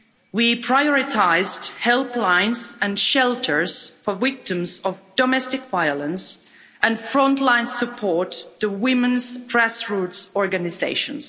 We prioritised helplines and shelters for victims of domestic violence and frontline support for women's grass roots organisations.